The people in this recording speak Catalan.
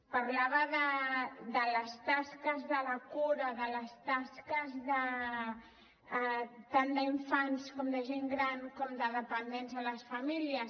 parlava de les tasques de la cura de les tasques tant d’infants com de gent gran com de dependents en les famílies